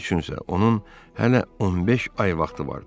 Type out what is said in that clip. Bunun üçün isə onun hələ 15 ay vaxtı vardı.